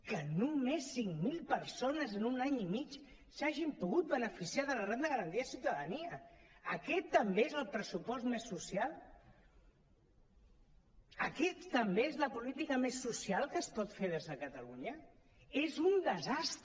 que només cinc mil persones en un any i mig s’hagin pogut beneficiar de la renda garantida de ciutadania aquest també és el pressupost més social aquesta també és la política més social que es pot fer des de catalunya és un desastre